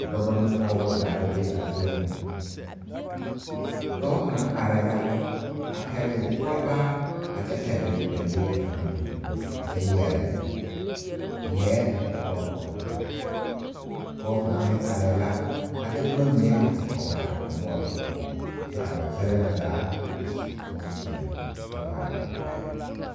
Dɔba ne pɔgeba zaa la be a zie ŋa dɔɔ kaŋa arɛɛ la a pɛgle kɔlbaa a kyɛ pɛgle dalee kaŋa meŋ a kyɛ yɛre lɛɛ o kɔkɔre poɔ pɔge kaŋa meŋ arɛɛ la a de boma mine a te tɔgle a o noɔre poɔ kyɛ ka ba kyɛlɛɛ na zaa a su bompeɛle a kyɛ vaare wagyɛre.